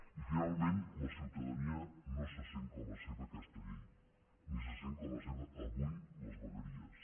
i finalment la ciutadania no se sent com a seva aquesta llei ni se sent com a seves avui les vegueries